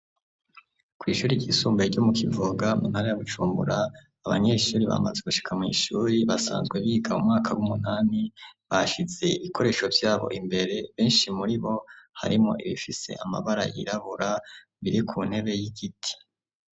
Kw'ishure ry'isumbaye ryo mu Kivoga mu ntara ya Bujumbura, abanyeshure bamaze gushika mw'ishuri basanzwe biga mu mwaka w'umunani bashize ibikoresho vyabo imbere benshi muri bo harimwo ibifise amabara yirabura biri ku ntebe y'igiti.